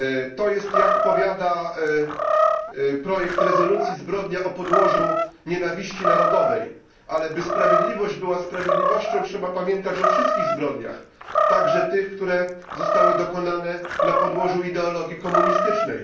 To jest, jak powiada projekt rezolucji, zbrodnia o podłożu nienawiści narodowej, ale by sprawiedliwość była sprawiedliwością, trzeba pamiętać o wszystkich zbrodniach, także tych, które zostały dokonane na podłożu ideologii komunistycznej.